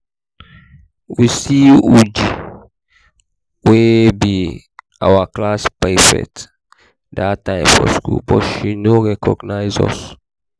we see uju wey be our class prefect dat time for road but she no recognize us